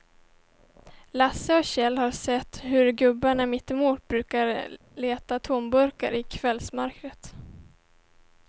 Lasse och Kjell har sett hur gubben mittemot brukar leta tomburkar i kvällsmörkret.